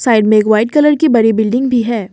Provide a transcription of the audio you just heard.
Side में एक white colour की बड़ी बिल्डिंग भी है।